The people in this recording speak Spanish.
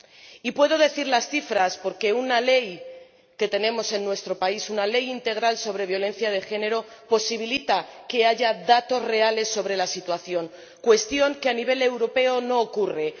Y puedo decir las cifras porque una ley que tenemos en nuestro país, una ley integral sobre violencia de género, posibilita que haya datos reales sobre la situación, lo que a nivel europeo no ocurre.